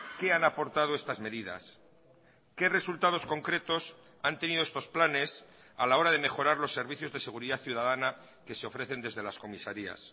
qué han aportado estas medidas qué resultados concretos han tenido estos planes a la hora de mejorar los servicios de seguridad ciudadana que se ofrecen desde las comisarías